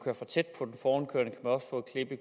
også få et